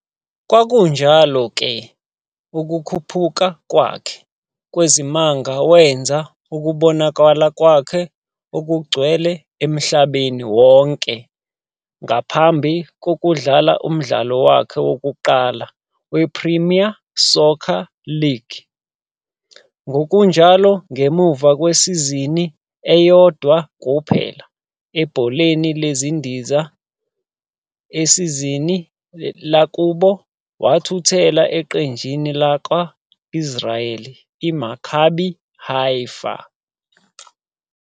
Kwakunjalo-ke ukukhuphuka kwakhe kwezimanga wenza ukubonakala kwakhe okugcwele emhlabeni wonke ngaphambi kokudlala umdlalo wakhe wokuqala wePremier Soccer League. Ngokunjalo, ngemuva kwesizini eyodwa kuphela ebholeni lezindiza ezisezweni lakubo, wathuthela eqenjini lakwa-Israeli iMaccabi Haifa.